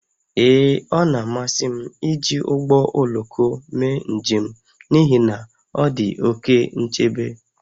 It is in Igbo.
Ee, ọ na-amasị m iji ụgbọ oloko mee njem n'ihi na ọ dị oke nchebe